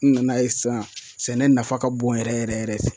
N nana ye sisan sɛnɛ nafa ka bon yɛrɛ yɛrɛ yɛrɛ yɛrɛ